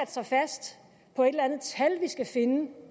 sig fast på et eller andet tal vi skal finde